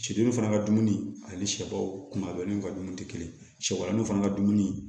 Sɛdenw fana ka dumuni ani sɛbaaw kun ka dumuni tɛ kelen sɛbaninw fana ka dumuni